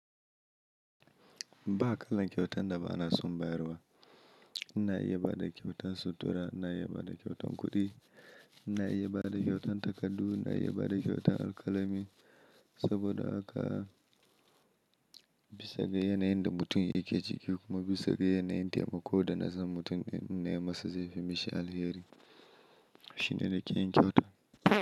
Ba kalan kyautan da ba na son bayarwa. Ina iya ba da ƙyautan sutura, ina iya ba da ƙyautan kuɗi, ina iya ba da ƙyautan takardu, ina iya ba da ƙyautan alƙalami saboda haka bisa ga yanayin da mutum yake ciki kuma bisa ga yanayin taimako da na san mutum ɗin in nayi masa zaifi, mishi alheri shine nake yin kyauta.